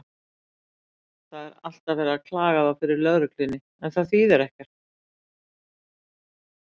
Það er alltaf verið að klaga þá fyrir lögreglunni, en það þýðir ekkert.